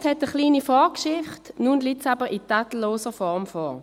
Das Geschäft hat eine kleine Vorgeschichte, es liegt nun aber in tadelloser Form vor.